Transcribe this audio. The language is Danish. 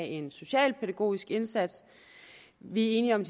en socialpædagogisk indsats vi er enige om